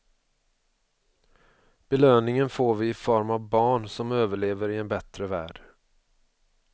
Belöningen får vi i form av barn som överlever i en bättre värld.